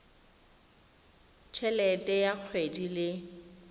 t helete ya kgwedi le